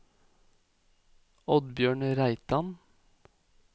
Oddbjørn Reitan